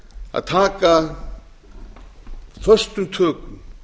að taka föstum tökum